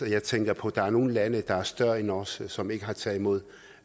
jeg tænker på at der er nogle lande der er større end os som ikke har taget imod